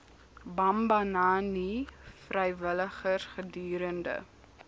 bambanani vrywilligers gedurende